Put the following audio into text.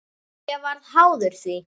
Ég varð háður því.